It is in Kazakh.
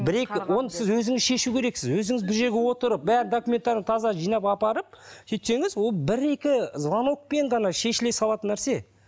бір екі оны сіз өзіңіз шешу керексіз өзіңіз бір жерге отырып документтерің таза жинап апарып сөйтсеңіз ол бір екі звонокпен ғана шешіле салатын нәрсе